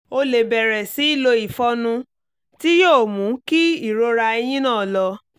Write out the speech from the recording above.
o lè bẹ̀rẹ̀ sí í lo ìfọnu tí yòò mú kí ìrora eyín náà lọ